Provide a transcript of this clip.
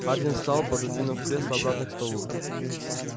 хардин встал пододвинув кресло обратно к столу